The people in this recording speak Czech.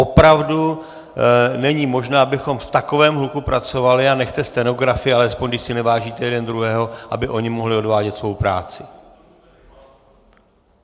Opravdu není možné, abychom v takovém hluku pracovali, a nechte stenografy alespoň, když si nevážíte jeden druhého, aby oni mohli odvádět svou práci!